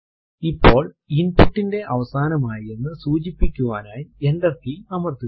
ഇപ്പോൾ input ന്റെ അവസാനം ആയി എന്ന് സൂചിപ്പിക്കുവാനായി എന്റർ കീ അമർത്തുക